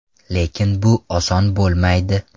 Lekin bu oson bo‘lmaydi.